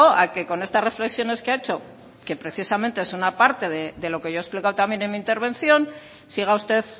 a que con estas reflexiones que ha hecho que precisamente es una parte de lo que yo he explicado también en mi intervención siga usted